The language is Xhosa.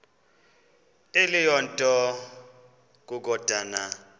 eyiloo nto kukodana